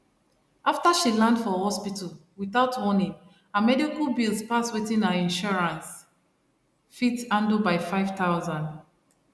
after she land for hospital without warning her medical bills pass wetin her insurance fit handle by 5000